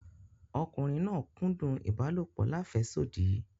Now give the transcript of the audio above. Ọkùnriǹ náà kúdùn ibàlọpò làféṣodí.